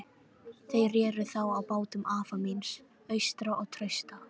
Þeir reru þá á bátum afa míns, Austra og Trausta.